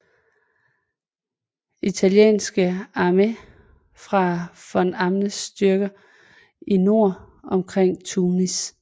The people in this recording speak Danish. Italienske Armé fra von Arnims styrker i nord omkring Tunis